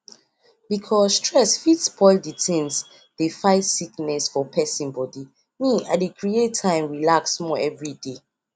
you know say ur clinic dey share free info on sti test and e dey help well well